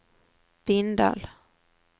Bindal